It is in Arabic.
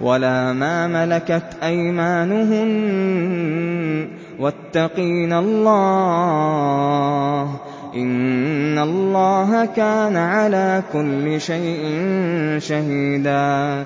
وَلَا مَا مَلَكَتْ أَيْمَانُهُنَّ ۗ وَاتَّقِينَ اللَّهَ ۚ إِنَّ اللَّهَ كَانَ عَلَىٰ كُلِّ شَيْءٍ شَهِيدًا